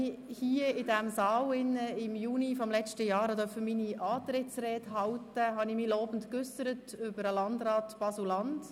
Als ich im Juni 2017 hier im Saal meine Antrittsrede halten durfte, äusserte ich mich lobend über den Landrat Baselland.